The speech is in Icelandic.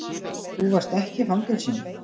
Þú varst ekki í fangelsinu.